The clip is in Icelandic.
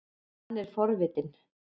Hann er forvitinn.